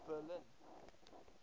berlin